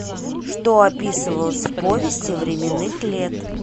что описывалось в повести временных лет